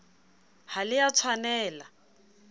ha le a tshwanel a